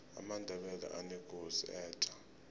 amandebele anekosi etja